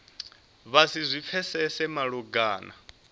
vha si zwi pfesese malugana